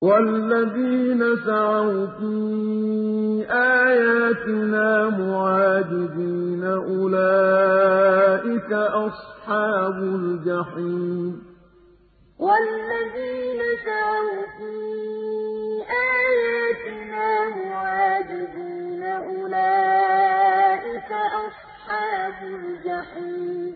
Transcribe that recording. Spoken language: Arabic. وَالَّذِينَ سَعَوْا فِي آيَاتِنَا مُعَاجِزِينَ أُولَٰئِكَ أَصْحَابُ الْجَحِيمِ وَالَّذِينَ سَعَوْا فِي آيَاتِنَا مُعَاجِزِينَ أُولَٰئِكَ أَصْحَابُ الْجَحِيمِ